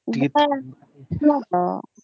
ହଁ